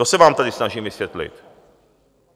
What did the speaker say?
To se vám tady snažím vysvětlit.